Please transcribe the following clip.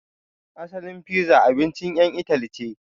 Asalin fiza abincin ƴan Itali ce.